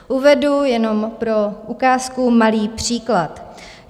Uvedu jenom pro ukázku malý příklad.